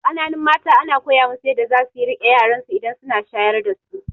Kananun mata ana koya musu yadda zasu riƙe yaransu idan suna shayar dasu